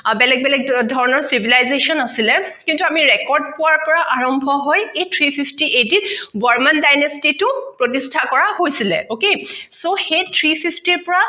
আৰু বেলেগ বেলেগ ধৰণৰ civilization আছিলে কিন্ত আমি record পোৱাৰ পৰা আৰম্ভ হয় এই three fifty AD বৰ্মণ dynasty টো প্ৰতিষ্ঠা কৰা হৈছিলে okay so সেই three fifty ৰ পৰা